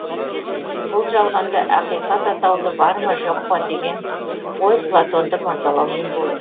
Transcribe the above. бұл жалғанда ақиқат атаулы бар ма жоқ па деген ой платонды мазалаумен болды